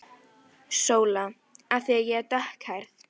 SÓLA: Af því ég er dökkhærð.